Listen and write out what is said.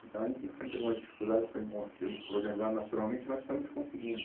Então a gente enfrenta algumas dificuldades para encon, se organizar nacionalmente, mas estamos conseguindo.